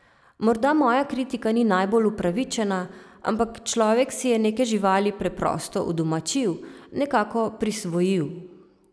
Morda moja kritika ni najbolj upravičena, ampak človek si je neke živali preprosto udomačil, nekako prisvojil.